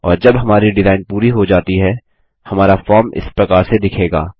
और जब हमारी डिजाइन पूरी हो जाती है हमारा फॉर्म इस प्रकार से दिखेगा